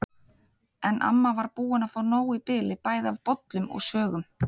En amma var búin að fá nóg í bili bæði af bollum og sögum.